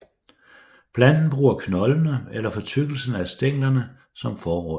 Planten bruger knoldene eller fortykkelsen af stænglerne som forråd